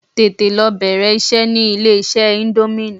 Tètè lọ bẹ̀rẹ̀ iṣẹ́ ní ilé iṣẹ́ íńdómì!